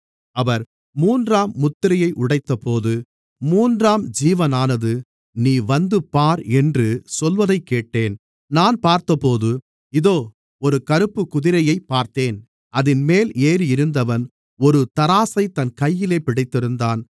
அவர் மூன்றாம் முத்திரையை உடைத்தபோது மூன்றாம் ஜீவனானது நீ வந்து பார் என்று சொல்வதைக்கேட்டேன் நான் பார்த்தபோது இதோ ஒரு கறுப்புக்குதிரையைப் பார்த்தேன் அதின்மேல் ஏறியிருந்தவன் ஒரு தராசைத் தன் கையிலே பிடித்திருந்தான்